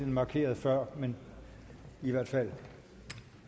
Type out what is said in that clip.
markerede før men i hvert fald